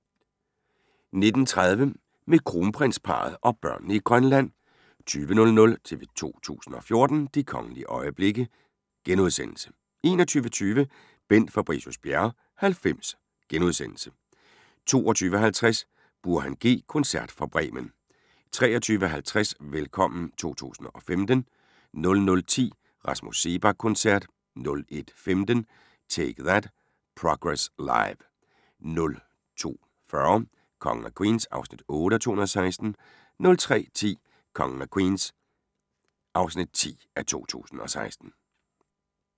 19:30: Med kronprinsparret og børnene i Grønland 20:00: TV 2 014: De kongelige øjeblikke * 21:20: Bent Fabricius-Bjerre 90 * 22:50: Burhan G – koncert fra Bremen 23:50: Velkommen 2015 00:10: Rasmus Seebach-koncert 01:15: Take That: Progress Live 02:40: Kongen af Queens (8:216) 03:10: Kongen af Queens (10:216)